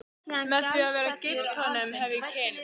Með því að vera gift honum hef ég kynnst